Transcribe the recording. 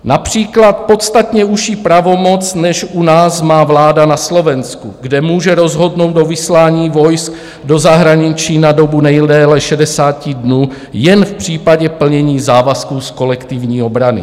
Například podstatně užší pravomoc než u nás má vláda na Slovensku, kde může rozhodnout o vyslání vojsk do zahraničí na dobu nejdéle 60 dnů jen v případě plnění závazků z kolektivní obrany.